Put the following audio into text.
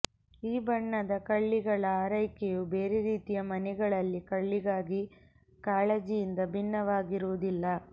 ಈ ಬಣ್ಣದ ಕಳ್ಳಿಗಳ ಆರೈಕೆಯು ಬೇರೆ ರೀತಿಯ ಮನೆಯಲ್ಲಿ ಕಳ್ಳಿಗಾಗಿ ಕಾಳಜಿಯಿಂದ ಭಿನ್ನವಾಗಿರುವುದಿಲ್ಲ